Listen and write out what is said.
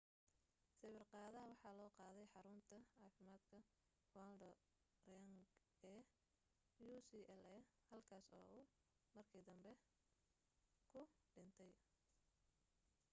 sawir qaadaha waxaa loo qaaday xarunta caaafimaadka ronald reagan ee ucla halkaas oo uu markii dambe ku dhintay